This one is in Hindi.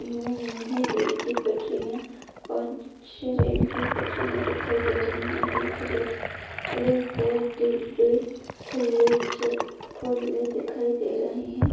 है रेल की पटरियां और पांच छ: रेल की पटरियां दिखाई दे रही है एक रेल लेकर डिब्बे खुल्ले चल खुल्ले दिखाई दे रहे है।